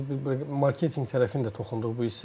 Biz bir marketinq tərəfini də toxunduq bu hissəyə.